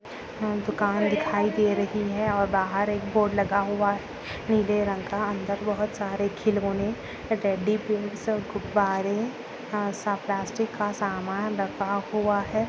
दुकान दिखाई दे रही है और बाहर एक बोर्ड लगा हुआ नीले रंग का अंदर बहुत सारे खिलोने टेडी गेम्स सब गुब्बारे प्लास्टिक का सामान रखा हुआ है।